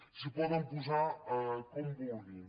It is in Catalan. s’hi poden posar com vulguin